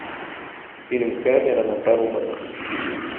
фильм кэмерона про роботов